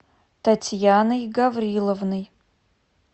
татьяной гавриловной